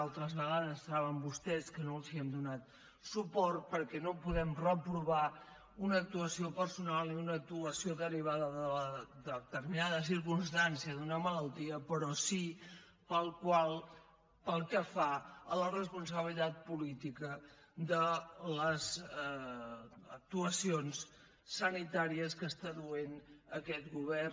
altres vegades saben vostès que no els hem donat suport perquè no podem reprovar una actuació personal i una actuació derivada de determinada circumstància d’una malaltia però sí pel que fa a la responsabilitat política de les actuacions sanitàries que està duent aquest govern